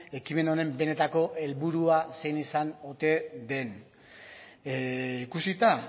ekimen honen benetako helburua zein izan ote den ikusita